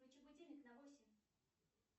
включи будильник на восемь